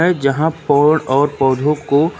जहां पोड और पौधों को--